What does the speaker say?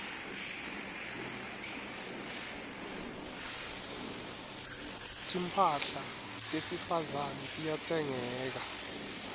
timphahla tesifazane tiyatsengeka